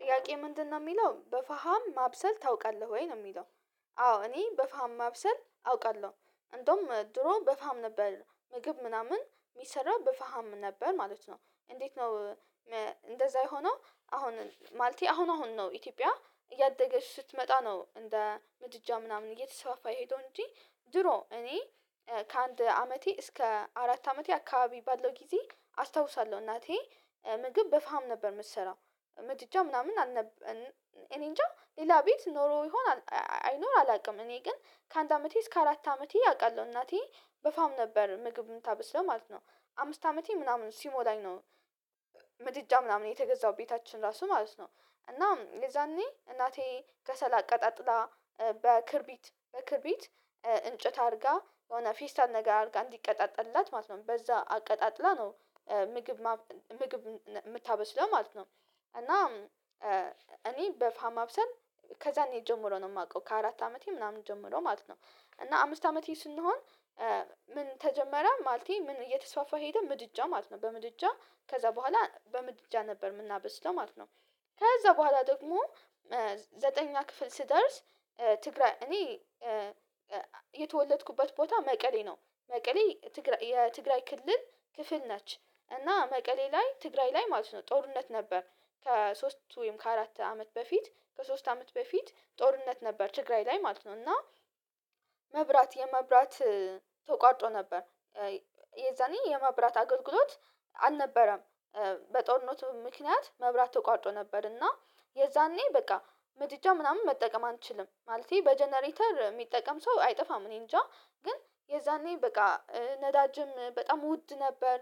ጥያቄ ምንድነው የሚለው በፋሃም ማብሰል ታውቃለህ ወይ ነው የሚለው? አዎ እኔ በፋሃም ማብሰል አውቃለሁ እንደውም ድሮ በፋም ነበር ምግብ ምናምን የሚሰራው በፋም ነበር ማለት ነው። እንዴት ነው? እንደዛ የሆነው አሁን ማለቴ አሁን አሁን ነው ኢትዮጵያ እያደገች ስትመጣ ነው እንደ ምድጃ ምናምን እየተሰፋ የሄደው እንጂ። ድሮ እኔ ከአንድ አመቴ እስከ አራት አመቴ አካባቢ ባለው ጊዜ አስታውሳለሁ እናቴ ምግብ በፋም ነበር የምትሰራው። ምድጃ ምናምን ኣልነበ እኔንጃ ሌላ ቤት ኖሮ ይሆን። አይኖር አላውቅም እኔ ግን ከአንድ አመቴ እስከ አራት አመቴ አቃለሁ እናቴ በፋሃም ነበር ምግብ የምታበስለው ማለት ነው። አምስት አመቴ ምናምን ሲሞላኝ ነው። ምድጃ ምናምን የተገዛው ቤታችን ራሱ ማለት ነው እና የዛኔ እናቴ ከሰላ አቀጣጥላ። በክርቢት በክርቢት እንጨት አድርጋ የሆነ ፊስታል ነገር አድርጋ እንዲቀጣጠላት ማለት ነው በዛ አቀጣጥላ ነው። ምግብ ምግብ የምታበስለው ማለት ነው። እና እኔ በፋሃም ማብሰን ከዛኔ ጀምሮ ነው የማውቀው ከአራት አመቴ ምናምን ጀምሮ ማለት ነው። እና አምስት አመቴ ስንሆን ምን ተጀመረ ማለቴ ምን እየተስፋፋ ሄደ ምድጃ ማለት ነው። በምድጃ ከዛ በኋላ በምድጃ ነበር የምናበስለው ማለት ነው። ከዛ በኋላ ደግሞ ዘጠኝ ክፍል ስደርስ ትግራይ እኔ የተወለድኩበት ቦታ መቀሌ ነው። መቀሌ ትግራይ የትግራይ ክፍል ነች። እና መቀሌ ላይ ትግራይ ላይ ማለት ነው ጦርነት ነበር። ከሶስት ወይም ከአራት አመት በፊት ከሶስት አመት በፊት ጦርነት ነበር ትግራይ ላይ ማለት ነው። እና መብራት የመብራት ተቋርጦ ነበር የዛኔ የመብራት አገልግሎት አልነበረም። በጦርነቱ ምክንያት መብራት ተቋርጦቶ ነበር እና የዛኔ በቃ ምድጃ ምናምን መጠቀም አንችልም ማለቴ በጀነሬተር የሚጠቀም ሰው አይጠፋም እኔ እንጃ ግን የዛኔ በቃ ነዳጅም በጣም ውድ ነበር።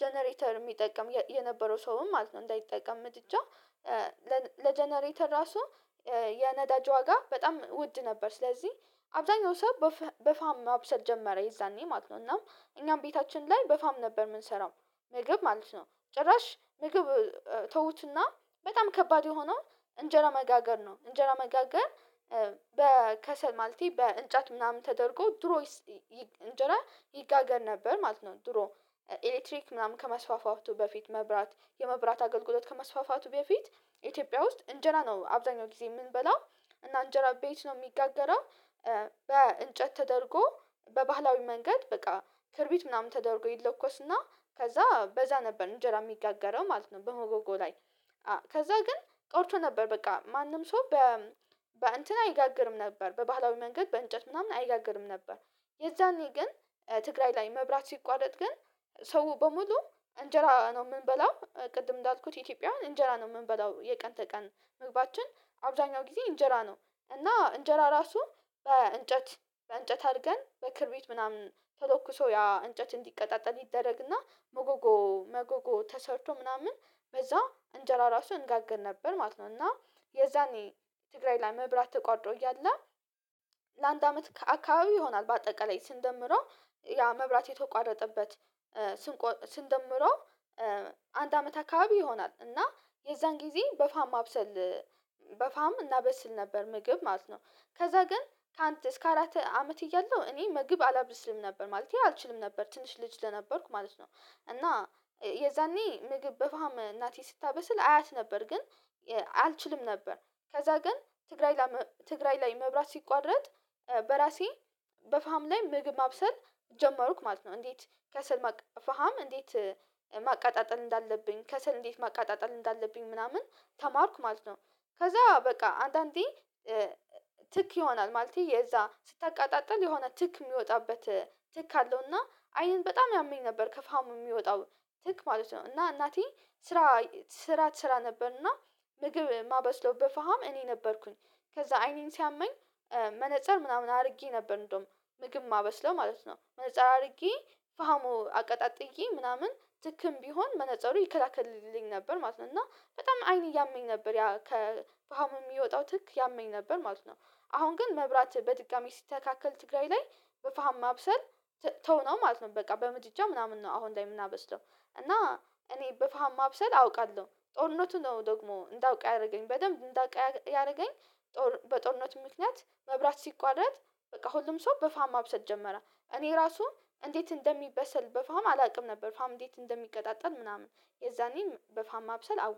ጀነሬተር የሚጠቅም የነበረው ሰውም ማለት ነው እንዳይጠቀም ምድጃ ለጀነሬተር ራሱ የነዳጅ ዋጋ በጣም ውድ ነበር። ስለዚህ አብዛኛው ሰው በፋሃም ማብሰል ጀመረ የዛኔ ማለት ነው እና እኛም ቤታችን ላይ በፋም ነበር የምንሰራው ምግብ ማለት ነው። ጭራሽ ምግብ ተውትና በጣም ከባድ የሆነው እንጀራ መጋገር ነው እንጀራ መጋገር በከሰል ማለቴ በእንጨት ምናምን ተደርጎ ድሮይ እንጀራ ይጋገር ነበር ማለት ነው። ድሮ ኤሌክትሪክ ምናምን ከመስፋፋቱ በፊት መብራት የመብራት አገልግሎት ከመስፋፋቱ በፊት ኢትዮጵያ ውስጥ እንጀራ ነው አብዛኛው ጊዜ የምንበላው እና እንጀራ ቤት ነው የሚጋገረው። በእንጨት ተደርጎ በባህላዊ መንገድ በቃ ክርቢት ምናምን ተደርጎ ይለኮስና ከዛ በዛ ነበር እንጀራ የሚጋጋረው ማለት ነው። በሞጎጎ ላይ ከዛ ግን ቆርቶ ነበር በቃ ማንም ሰው በ በእንትን አይጋግርም ነበር በባህላዊ መንገድ በእንጨት ምናምን አይጋግርም ነበር። የዛኔ ግን ትግራይ ላይ መብራት ሲቋረጥ ግን ሰው በሙሉ እንጀራ ነው የምንበላው ቅድም እንዳልኩት ኢትዮጵያውያን እንጀራ ነው የምንበላው የቀን ተቀን ምግባታችን አብዛኛው ጊዜ እንጀራ ነው። እና እንጀራ ራሱ በእንጨት በእንጨት አድርገን በክርቢት ምናምን ተሎክሶ ያ እንጨት እንዲቀጣጠል ይደረግና መጎጎ መጎጎ ተሰርቶ ምናምን በዛ እንጀራ ራሱ እንጋገር ነበር ማለት ነው። እና የዛኔ ትግራይ ላይ መብራት ተቋርጦ እያለ ለአንድ አመት አካባቢ ይሆናል በአጠቃላይ ስንደምረው ያ መብራት የተቋረጠበት ስንቆ ስንደምሮ አንድ አመት አካባቢ ይሆናል። እና የዛን ጊዜ በፋሃም ማብሰል በፋሃም እናበስል ነበር ምግብ ማለት ነው። ከዛ ግን ካንድ እስከ አራት አመት እያለሁ እኔ ምግብ አላብርስልም ነበር ማለቴ አልችልም ነበር ትንሽ ልጅ ለነበርኩ ማለት ነው። እና የዛኔ ምግብ በፋሃም እናቴ ስታበስል አያት ነበር ግን አልችልም ነበር ከዛ ግን ትግራይ ላይ መብራት ሲቋረጥ በራሴ በፋሃም ላይ ምግብ ማብሰል ጀመሩክ ማለት ነው። እንዴት ከሰል ማቃጠል እንዴት? ማቃጠል እንዳለብኝ ከሰል እንዴት ማቃጠል እንዳለብኝ ምናምን ተማርኩ ማለት ነው። ከዛ በቃ አንዳንዴ ትክ ይሆናል ማለቴ የዛ ስታቃጣጥል የሆነ ትክ የሚወጣበት ትክ አለው እና አይንን በጣም ያመኝ ነበር ከፋሃሙ የሚወጣው ትክ ማለት ነው። እና እናቴ ስራ ስራ ትሰራ ነበር እና ምግብ ማበስሎው በፈሃም እኔ ነበርኩኝ። ከዛ አይኔን ሲያመኝ መነፀር ምናምን አድርጌ ነበር እንደውም ምግብ ማበስለው ማለት ነው መነፀር አድርጌ ፋሃሙ አቀጣጥዬ ምናምን ትክም ቢሆን መነፀሩ ይከላከልልኝ ነበር ማለት ነው እና በጣም አይን እያመኝ ነበር ያከፍሃሙ የሚወጣው ትክ ያመኝ ነበር ማለት ነው። አሁን ግን መብራት በድጋሜ ሲተካከል ትግራይ ላይ በፋሃም ማብሰል ተውነው ማለት ነው። በቃ በምጥጃ ምናምን ነው አሁን ላይ የምናበስደው እና እኔ በፋሃም ማብሰል አውቃለሁ። ጦርነቱ ነው ደግሞ እንዳውቅ ያደረገኝ በደንብ እንዳውቅ ያደረገኝ። በጦርነት ምክንያት መብራት ሲቋረጥ በቃ ሁሉም ሰው በፋሃም ማብሰል ጀመረ እኔ ራሱ እንዴት እንደሚበሰል በፋም አላውቅም ነበር። ፋሃም እንዴት እንደሚቀጣጠል ምናምን የዛኔም በፋሃም ማብሰል አወቀ